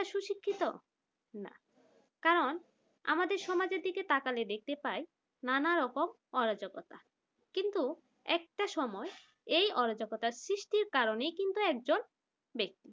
সুশিক্ষিত না কারণ আমাদের সমাজের দিকে তাকালে দেখতে পায় নানা রকম অরাজকতা কিন্তু একটা সময় এই অরাজকতার সৃষ্টির কারণেই কিন্তু একজন ব্যক্তি